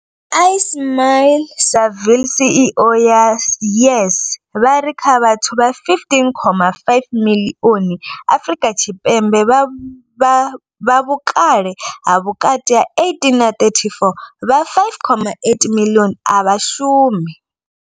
Ismail-Saville CEO ya YES, vha ri kha vhathu vha 15.5 miḽioni Afrika Tshipembe vha vhukale ha vhukati ha 18 na 34, vha 5.8 miḽioni a vha shumi.